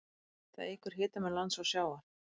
Það eykur hitamun lands og sjávar.